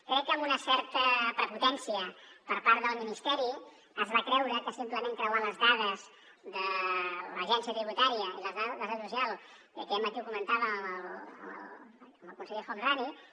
crec que amb una certa prepotència per part del ministeri es va creure que simplement creuant les dades de l’agència tributària i les dades de la seguretat social i aquest matí ho comentàvem amb el conseller el homrani